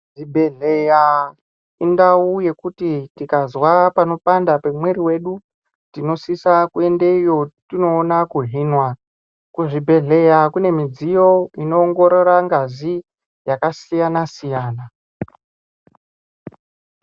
Zvibhedhleya indau yekuti tikazwa panopanda pemwiri yedu tinosisa kuendeyo tinoona kuhinwa. Kuzvibhedhleya kune midziyo inoongorora ngazi yakasiyana-siyana.